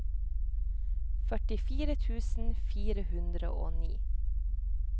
førtifire tusen fire hundre og ni